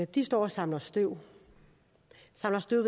de står og samler støv